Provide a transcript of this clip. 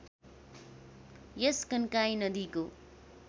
यस कन्काई नदीको